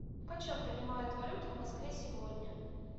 почем принимают валюту в москве сегодня